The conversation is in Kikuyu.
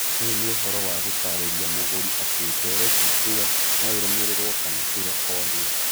Ũyũ nĩ ũhoro wa gũtarĩria mũgũri atĩ ndeereti ĩyo no ĩrũmĩrĩrwo kana ĩrekondwo.